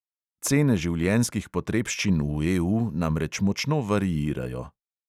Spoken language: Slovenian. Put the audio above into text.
Cene življenjskih potrebščin v EU namreč močno variirajo.